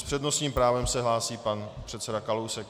S přednostním právem se hlásí pan předseda Kalousek.